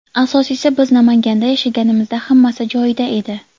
Asosiysi, biz Namanganda yashaganimizda hammasi joyida edi.